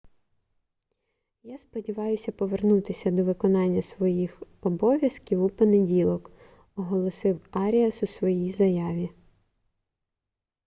я сподіваюся повернутися до виконання всіх своїх обов'язків у понеділок - оголосив аріас у своїй заяві